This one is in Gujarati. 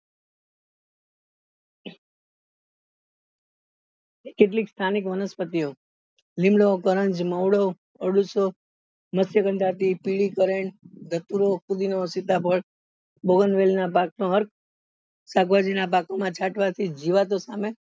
કેટલીક સ્થાનિક વનસ્પતિઓ લીમડો કરણજ મહુડો અરડૂસો માસ્યગનધાપી પીળી કરેણ ધતુરો ફુદીનો સીતાફળ બોગન વેલ ના શાકભાજી ના બાગો માં જીવાતો સામે